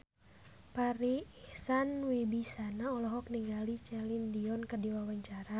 Farri Icksan Wibisana olohok ningali Celine Dion keur diwawancara